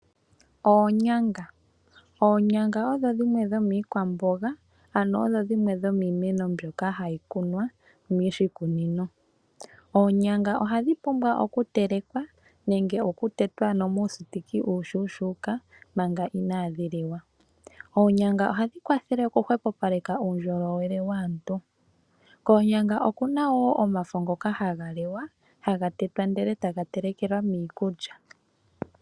Oonyanga Oonyanga odho dhimwe dhomiikwamboga, ano odho dhimwe dho miimeno mbyoka hayi kunwa moshikunino. Oonyanga ohadhi pumbwa okutelekwa nenge okutetwa muupambu uushuushuuka manga inaadhi liwa. Oonyanga ohadhi kwathele okuhwepopaleka uundjolowele waantu. Koonyanga oku na wo omafo ngoka haga liwa, haga tetwa, ndele taga telekelwa miikulya.